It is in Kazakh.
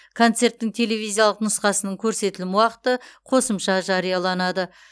концерттің телевизиялық нұсқасының көрсетілім уақыты қосымша жарияланады